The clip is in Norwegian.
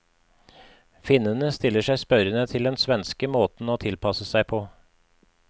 Finnene stiller seg spørrende til den svenske måten å tilpasse seg på.